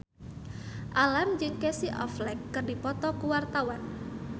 Alam jeung Casey Affleck keur dipoto ku wartawan